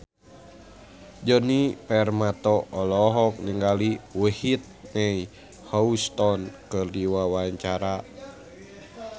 Djoni Permato olohok ningali Whitney Houston keur diwawancara